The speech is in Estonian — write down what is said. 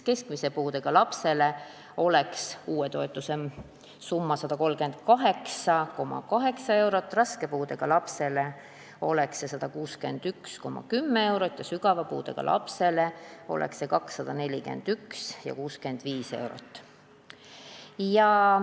Keskmise puudega lapsele oleks uue toetuse summa 138,8 eurot, raske puudega lapse toetus oleks 161,10 eurot ja sügava puudega lapse oma 241,65 eurot.